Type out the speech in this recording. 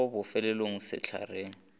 ke go bofelele mo sehlareng